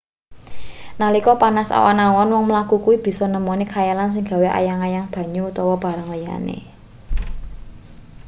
nalika panas awan-awan wong mlaku kuwi bisa nemoni khayalan sing gawe ayang-ayang banyu utawa barang liyane